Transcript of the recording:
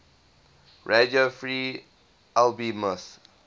radio free albemuth